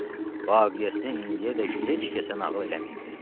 Vaqiyəsini indiyədək heç kəsə nağıl eləməyibdir.